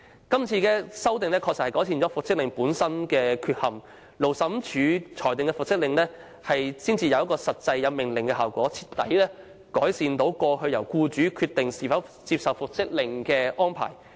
今次修例確實能夠改善原有復職令的缺陷，因為由勞資審裁處作出的復職令具有命令效果，徹底改善過往由僱主決定是否接受復職令的安排。